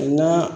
Nka